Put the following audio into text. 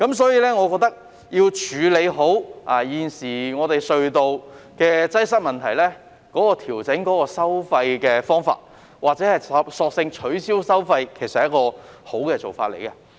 所以，我認為要處理好現時隧道擠塞的問題，調整收費或者索性取消收費是一個好做法。